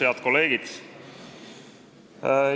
Head kolleegid!